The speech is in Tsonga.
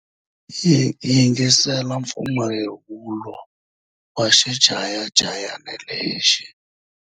Yingisela mpfumawulo wa xichayachayani lexi.